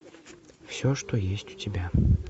все что есть у тебя